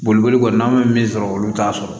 Boliboli kɔni n'an bɛ min sɔrɔ olu t'a sɔrɔ